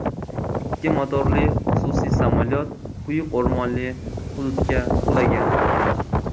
Ikki motorli xususiy samolyot quyuq o‘rmonli hududga qulagan.